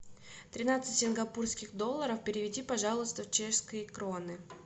тринадцать сингапурских долларов переведи пожалуйста в чешские кроны